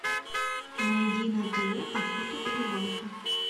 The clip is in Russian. найди на тв охота и рыбалка